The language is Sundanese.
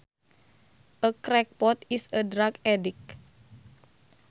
A crackpot is a drug addict